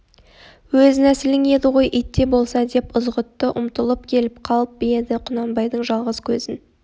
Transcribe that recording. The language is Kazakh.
өз нәсілің еді ғой ит те болса деп ызғұтты ұмтылып келіп қалып еді құнанбайдың жалғыз көзін